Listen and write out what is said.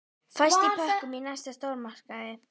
Fæst í pökkum í næsta stórmarkaði.